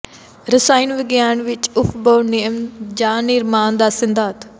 ਰਸਾਇਣ ਵਿਗਿਆਨ ਵਿਚ ਅਉਫਬਊ ਨਿਯਮ ਜਾਂ ਨਿਰਮਾਣ ਦੇ ਸਿਧਾਂਤ